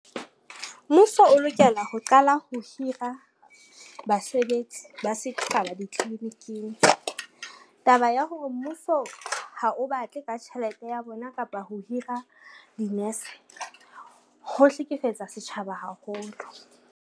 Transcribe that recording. Mmuso o lokela ho qala ho hira basebetsi ba setjhaba ditliliniking. Taba ya hore mmuso ha o batle ka tjhelete ya bona kapa ho hira dinese, ho hlekefetsa setjhaba haholo.